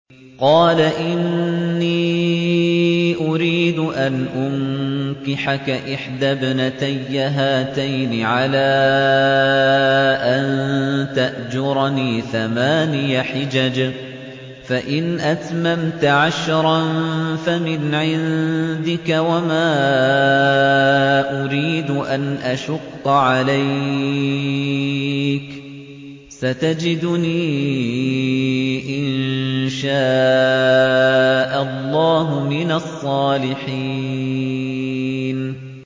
قَالَ إِنِّي أُرِيدُ أَنْ أُنكِحَكَ إِحْدَى ابْنَتَيَّ هَاتَيْنِ عَلَىٰ أَن تَأْجُرَنِي ثَمَانِيَ حِجَجٍ ۖ فَإِنْ أَتْمَمْتَ عَشْرًا فَمِنْ عِندِكَ ۖ وَمَا أُرِيدُ أَنْ أَشُقَّ عَلَيْكَ ۚ سَتَجِدُنِي إِن شَاءَ اللَّهُ مِنَ الصَّالِحِينَ